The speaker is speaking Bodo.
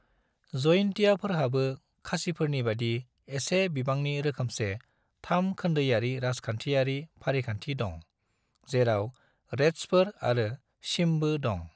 जयिन्तियाफोरहाबो खासिफोरनिबादि एसे बिबांनि रोखोमसे थाम-खोन्दोयारि राजखान्थियारि फारिखान्थि दं, जेराव रेदसफोर आरो स्यिमबो दं।